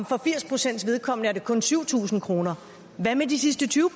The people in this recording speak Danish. for firs procents vedkommende er det kun syv tusind kroner hvad med de sidste tyve